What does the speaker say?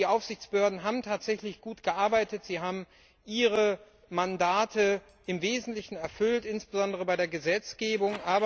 Die Aufsichtsbehörden haben tatsächlich gut gearbeitet, sie haben ihre Mandate im Wesentlichen erfüllt, insbesondere bei der Gesetzgebung.